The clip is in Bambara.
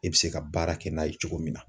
I bɛ se ka baara kɛ n'a ye cogo min na